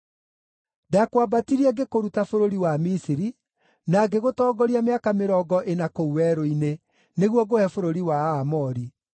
“Ndakwambatirie ngĩkũruta bũrũri wa Misiri, na ngĩgũtongoria mĩaka mĩrongo ĩna kũu werũ-inĩ, nĩguo ngũhe bũrũri wa Aamori.